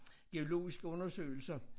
Geologiske undersøgelser